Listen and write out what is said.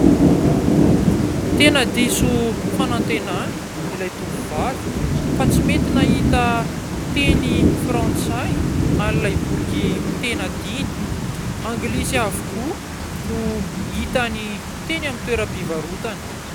Tena diso fanantenana ilay tovovavy fa tsy mety nahita teny frantsay an'ilay boky tena tiany. Anglisy avokoa no hitany teny amin'ny toeram-pivarotana.